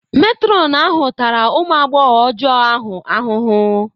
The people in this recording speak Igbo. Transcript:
Matron ahụ tara ụmụ agbọghọ ọjọọ ahụ ahụhụ.